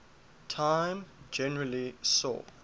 time generally saw